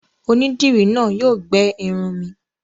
Onídìrí náà yóò gbẹ irun mi.